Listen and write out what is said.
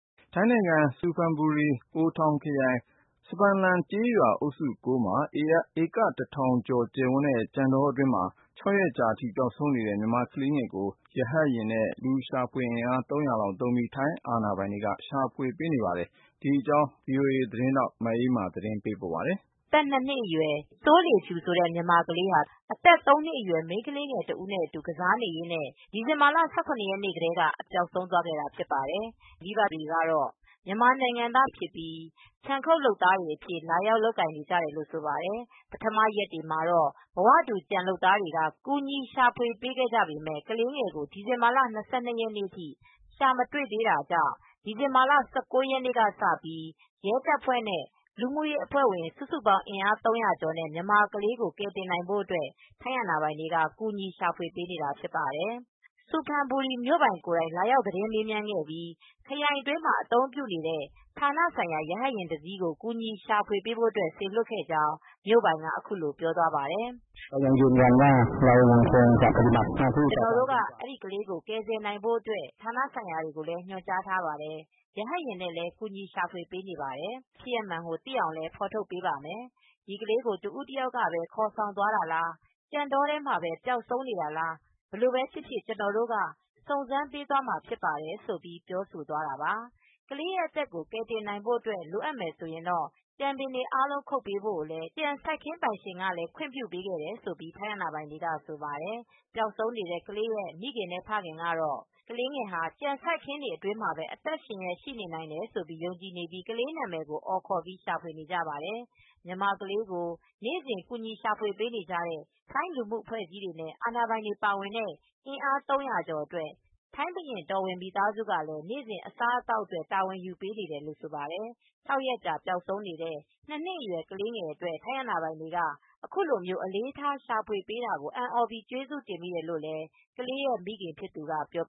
ထိုင်းနိုင်ငံ စူဖန်ဘူရီ အိုထောင်ခရိုင် စဖန်လန်ကျေးရွာအုပ်စု(၉)မှာ ဧက ၁၀၀၀ ကျယ်ဝန်းတဲ့ ကြံတောအတွင်း ၆ ရက်ကြာအထိ ပျောက်ဆုံးနေတဲ့ မြန်မာကလေးငယ်ကို ထိုင်းအာဏာပိုင်တွေက ရှာဖွေအင်အား ၃၀၀ လောက်သုံးပြီး ရဟတ်ယာဉ်နဲ့ ကူညီရှာဖွေပေး နေပါတယ်။ ဒီအကြောင်း အသေးစိတ်ကို VOA သတင်းထောက် မအေးအေးမာက ပြောပြထားပါတယ်။ ထိုင်းနိုင်ငံ စူဖန်ဘူရီ ခရိုင်တွင်းက ဧက ၁၀၀၀ လောက်ကျယ်ဝန်းတဲ့ ကြံတောအတွင်း အသက် သုံးနှစ်အရွယ် မိန်းခလေးငယ်တစ်ဦးနဲ့ကစားနေရင်းနဲ့ အသက် ၂နှစ်အရွယ် စိုးလေးဖြူ ဆိုတဲ့ မြန်မာကလေးဟာ ဒီဇင်ဘာလ ၁၇ ရက်နေ့ကတည်းက ပျောက်ဆုံးသွားခဲ့တာဖြစ်ပါတယ်။ ပျောက်ဆုံးနေတဲ့ ကလေးငယ်ရဲ့မိဘတွေကတော့ မြန်မာနိုင်ငံသား မိသားစုဝင်တွေဖြစ်ပြီး ခြံခုတ်လုပ်သားအဖြစ် လာရောက်လုပ်ကိုင် နေကြတာ ဖြစ်ပါတယ်။ ပထမရက်တွေမှာ ဘဝတူ ကြံလုပ်သားတွေက ကူညီရှာပေးခဲ့ကြပေမယ့် ဒီဇင်ဘာလ၂၂ရက်နေ့အထိ ကလေးငယ်ကို ရှာမတွေ့သေးတာကြောင့် ဒီဇင်ဘာ ၁၉ ရက်နေ့ကစပြီး ထိုင်းရဲတပ်ဖွဲ့နဲ့လူမှုရေးအဖွဲ့ဝင် စုစုပေါင်း ၃၀၀ ကျော်တို့က မြန်မာကလေးငယ်ကို ကယ်တင်နိုင်ဖို့ထိုင်းအာဏာပိုင်တွေက ကူူညီရှာဖွေ ပေးနေကြပါတယ်။ စူဖန်ဘူရီ မြို့ပိုင်ကိုယ်တိုင် လာရောက် သတင်းမေးမြန်းခဲ့ပြီး ခရိုင်အတွင်း အသုံးပြုနေတဲ့ ဌာနဆိုင်ရာ ရဟတ်ယာဉ်တစ်စီးကို ကူညီရှာဖွေဖို့ စေလွှတ်ခဲ့ကြောင်း မြို့ပိုင်က အခုလိုပြောသွားပါတယ်။ “ကျနော်တို့က ဒီကလေးကို ကယ်ဆယ်နိုင်ဖို့အတွက် ကယ်ဆယ်ရေးလုပ်ငန်းတွေ လုပ်ဖို့အတွက် ဌာနဆိုင်ရာကို ညွှန်ကြားထားပါတယ်။ရဟတ်ယာဉ်နဲ့လည်း ရှာဖွေပေးနေပါတယ်၊ ဒီမြန်မာကလေးရဲ့ဖြစ်ရပ်မှန်ကို သိအောင် ဖော်ထုတ်ပေးပါမယ်။ ဒီကလေးကို တဦးတယောက်ကပဲ ခေါ်ဆောင်သွားတာလား ကြံတောထဲမှာပဲ ပျောက်ဆုံးနေတာလား ဘယ်လိုဖြစ်ဖြစ် ကျနော်တို့က စုံစမ်းပေးသွားမှာဖြစ်ပါတယ်”… ဆိုပြီး ပြောသွားတာပါ။ ကလေးရဲ့ အသက်ကို ကယ်တင်နိုင်ဖို့လိုအပ်ရင် ကြံပင်တွေအားလုံး ခုတ်ပေးဖို့ ကြံစိုက်ခင်း ပိုင်ရှင်ကလည်း ခွင့်ပြုခဲ့တယ်လို့ ထိုင်းအာဏာပိုင်တွေက ဆိုပါတယ်။ ပျောက်ဆုံးနေတဲ့ ကလေးရဲ့ မိခင်နဲ့ဖခင်ကတော့ ကလေးငယ်ဟာ ကြံတောအတွင်းမှာပဲ အသက်ရှင်လျက် ရှိနေနိုင်တယ်လို့ ယုံကြည်နေပြီး ကလေးနာမည်ကို အော်ခေါ်ပြီး ရှာဖွေနေပါတယ်။ မြန်မာကလေးကို နေ့စဉ် ကူညီရှာပေးနေကြတဲ့ ထိုင်းလူမူအဖွဲအစည်းနဲ့ အာဏာပိုင်တွေပါဝင်တဲ့ လူအင်အား ၃၀၀ ကျော်အတွက် ထိုင်းဘုရင့်တော်ဝင် မိသားစုကလည်း နေ့စဉ် အစားအသောက်အတွက် တာဝန်ယူပေးနေတယ်လို့ဆိုပါတယ်။ ၆ ရက်ကြာ ပျောက်ဆုံးနေတဲ့ ၂နှစ်အရွယ် ကလေးငယ်လေး အတွက် ထိုင်းအာဏာပိုင်တွေက အခုလို အလေးထား ရှာဖွေပေးတာကို အံသြပြီး ကျေးဇူးတင်မိတယ်လို့ကလေးရဲ့မိခင်ဖြစ်သူက ပြော